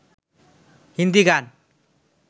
হিন্দি গান